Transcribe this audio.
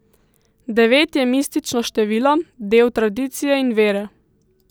Devet je mistično število, del tradicije in vere.